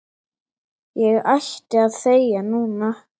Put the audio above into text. Ég ætti að þegja núna.